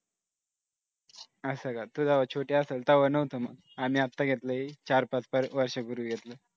असं का तू जवा छोटी असेल तेव्हा नव्हता मग आम्ही आता घेतल आहे चार-पाच वर्षांपूर्वी घेतलंय.